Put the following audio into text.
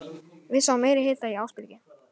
Við sáum meiri hita í Ásbyrgi